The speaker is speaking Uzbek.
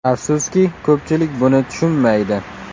Afsuski, ko‘pchilik buni tushunmaydi.